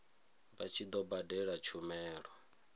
vha tshi do badela tshumelo